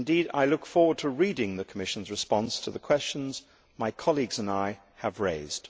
I look forward to reading the Commission's response to the questions my colleagues and I have raised.